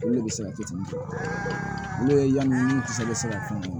Olu de bɛ se ka fitiinin kɛ n'o ye yanni kisɛ bɛ se ka k'u ye